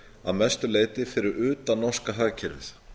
að mestu leyti fyrir utan norska hagkerfið